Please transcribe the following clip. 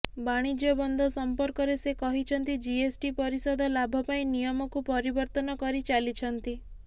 ବାଣିଜ୍ୟ ବନ୍ଦ ସମ୍ପର୍କରେ ସେ କହିଛନ୍ତି ଜିଏସଟି ପରିଷଦ ଲାଭ ପାଇଁ ନିୟମକୁ ପରିବର୍ତ୍ତନ କରି ଚାଲିଛନ୍ତି